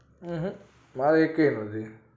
અંહ ના એકયા નથી